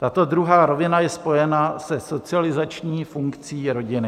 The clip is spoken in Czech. Tato druhá rovina je spojena se socializační funkcí rodiny.